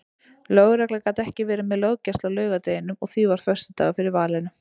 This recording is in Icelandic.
Lögregla gat ekki verið með löggæslu á laugardeginum og því varð föstudagur fyrir valinu.